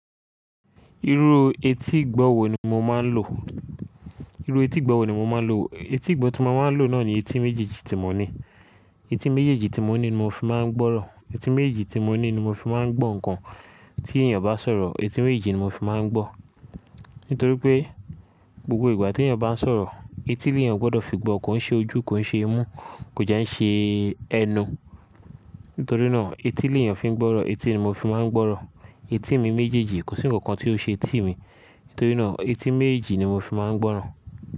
Irú etí ìgbọ̀wọ́ ni mo máa ń lò. Irú etí ìgbọ̀wọ́ ni mo máa ń lò, etí ìgbọ̀wọ́ tí mo máa ń lò náà ni etí méjèèjì tí mo ní. Etí méjèèjì tí mo ní ni mo fi máa ń gbọ́rọ̀. Etí méjì tí mo ní ni mo fi máa ń gbọ́ nǹkan tí ènìyàn bá sọ̀rọ̀. Etí méjì ni mo fi máa ń gbọ́. Nítorí pé gbogbo ìgbà tí èyàn bá sọ̀rọ̀, etí leyàn gbọdọ̀ fi gbọ́. Kò ṣe ojú, kò ṣe imú, kò jẹ́ ń ṣe ẹnu. Nítorí náà etí lìyàn fi ń gbọ́rọ̀. Etí ni mo fi máa ń gbọ́rọ̀. Etí mi méjèèjì kò sí nǹkan tí ó ṣe etì mí. Nítorí náà etí méjì ni mo fi máa ń gbọ́rọ̀